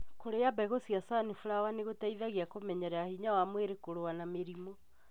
Kũrĩa mbegũ cia sunflower nĩgũteithagia kũmenyerera hinya wa mwĩri kũrũa na mĩrimũ.